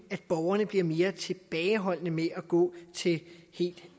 at borgerne bliver mere tilbageholdende med at gå til helt